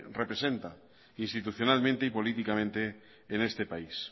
representa institucionalmente y políticamente en este país